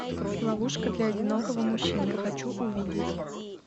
ловушка для одинокого мужчины хочу увидеть